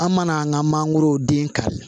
An mana an ka mangoro den kari